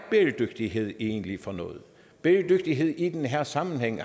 bæredygtighed egentlig er for noget bæredygtighed i den her sammenhæng